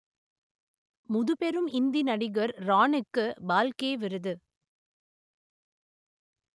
முதுபெரும் இந்தி நடிகர் பிரானுக்கு பால்கே விருது